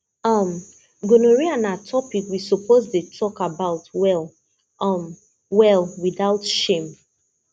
um gonorrhea na topic we suppose dey talk about well um well without shame